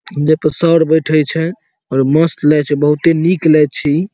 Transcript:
जे पर सर बैठे छै और मस्त लागे छै बहुते निक लागे छै इ।